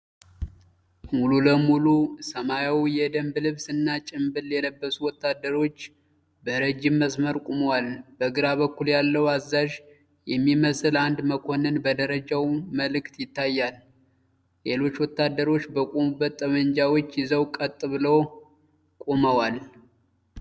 ሙሉ ለሙሉ ሰማያዊ የደንብ ልብስ እና ጭንብል የለበሱ ወታደሮች በረጅም መስመር ቆመዋል። በግራ በኩል ያለው አዛዥ የሚመስል አንድ መኮንን በደረጃው ምልክት ይታያል፤ ሌሎች ወታደሮች በቆሙበት ጠመንጃዎች ይዘው ቀጥ ብለው ቆመዋል።